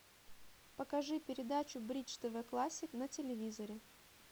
покажи передачу бридж тв классик на телевизоре